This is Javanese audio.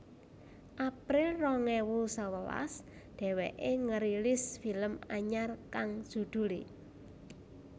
April rong ewu sewelas dheweké ngerilis film anyar kang judulé